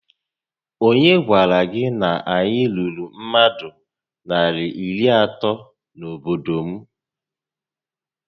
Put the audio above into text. Onye gwara gị na anyị ruru mmadụ narị iri atọ na-obodo m?